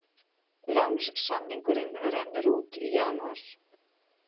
Lánssamningurinn rennur út í janúar